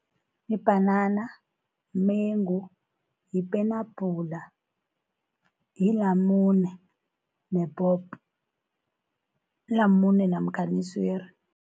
Ibhanana, mumengu, yipenabhula, yilamune nephopho, ilamune namkhana iswiri.